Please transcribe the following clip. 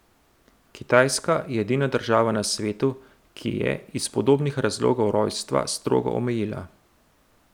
Kitajska je edina država na svetu, ki je, iz podobnih razlogov, rojstva strogo omejila.